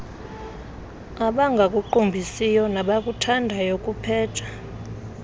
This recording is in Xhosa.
abangakuqumbisiyo nabakuthandayo kupheja